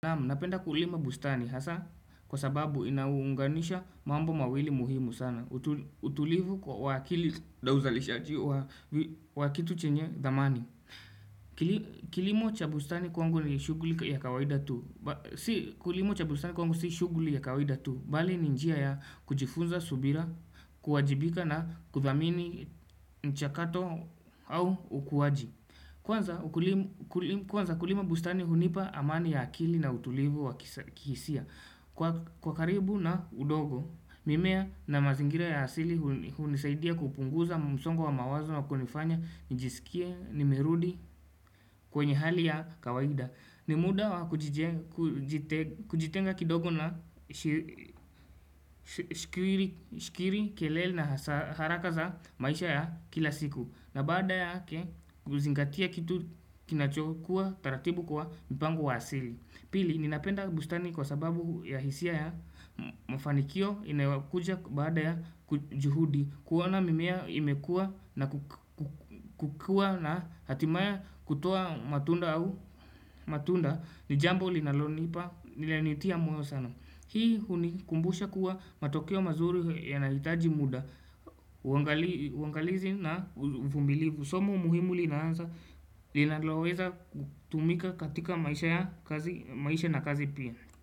Naamu, napenda kulima bustani hasa kwa sababu inaunganisha mambo mawili muhimu sana. Utulivu wa wakili na uzalisha wakitu chenye zamani. Kilimo cha bustani kwangu ni shughuli ya kawaida tu. Si kulimo cha bustani kwangu si shughuli ya kawaida tu. Bali ni njia ya kujifunza subira, kuwajibika na kudhamini mchakato au ukuwaji. Kwanza kulima bustani hunipa amani ya akili na utulivu wa kihisia Kwa karibu na udogo mimea na mazingira ya hasili hunisaidia kupunguza msongo wa mawazo wa kunifanya nijisikie nimerudi kwenye hali ya kawaida Nimuda wa kujitenga kidogo na shikiri keleli na harakaza maisha ya kila siku na baada yake, uzingatia kitu kinachokuwa taratibu kwa mpangu wasili Pili, ninapenda bustani kwa sababu ya hisia ya mafanikio inawakuja baada ya juhudi kuwana mimea imekua na kukua na hatimaya kutoa matunda au matunda nijambo linalonipa nilenitia moyo sana Hii huni kumbusha kuwa matokeo mazuri yanahitaji muda uangalizi na uvumilivu Somu muhimu linaanza linaweza kutumika katika maisha na kazi pia.